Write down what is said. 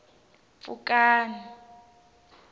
pfukani